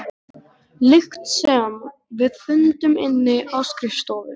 lykt sem við fundum inni á skrifstofu.